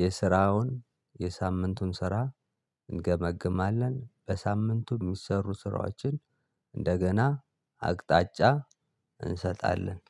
የስራውን የሳምንቱን ስራ እንገመግማለን በሳምንቱ የሚሰሩ ስራዎችን እንደገና አቅጣጫ እንሰጣለን።